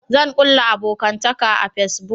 Zan kulla abokantaka a fasibuk